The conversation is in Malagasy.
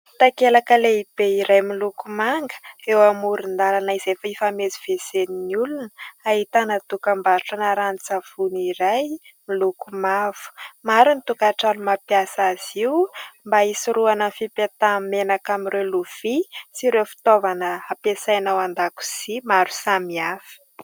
Takelaka lehibe iray miloko manga eo amoron-dalana izay fifamezivezen'ny olona, ahitana dokam-barotrana ranon-tsavony iray miloko mavo. Maro ny tokantrano mampiasa azy io mba hisoroana ny fipetahan'ny menaka amin'ireo lovia sy ireo fitaovana ampiasana ao an-dakozia maro samihafa.